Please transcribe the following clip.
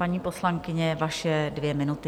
Paní poslankyně, vaše dvě minuty.